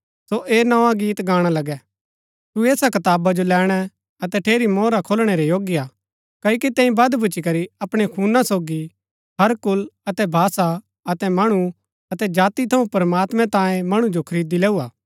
सो ऐह नोआ गीत गाणा लगै तू ऐसा कताबा जो लैणै अतै ठेरी मोहरा खोलणै रै योग्य हा क्ओकि तैंई वध भूच्ची करी अपणै खूना सोगी हर कुल अतै भाषा अतै मणु अतै जाति थऊँ प्रमात्मैं तांयें मणु जो खरीदी लैऊ हा